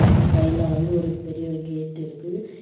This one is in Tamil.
அது சைடுல வந்து ஒரு பெரிய ஒரு கேட் இருக்கு.